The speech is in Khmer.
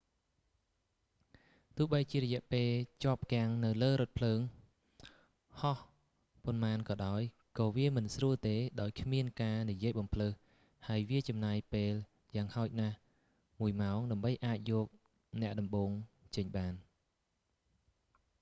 ទោះបីជារយៈពេលជាប់គាំងនៅលើរថភ្លើងហោះប៉ុន្មានក៏ដោយ ក៏វាមិនស្រួលទេដោយគ្មានការនិយាយបម្លើសហើយវាចំណាយពេលយ៉ាងហោចណាស់មួយម៉ោង ដើម្បីអាចយកអ្នកដំបូងចេញបាន